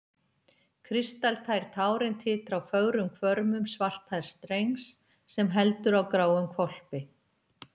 Kristaltær tárin titra á fögrum hvörmum svarthærðs drengs sem heldur á gráum hvolpi.